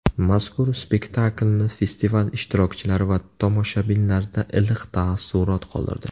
Mazkur spektakilni festival ishtirokchilari va tomoshabinlarda iliq taassurot qoldirdi.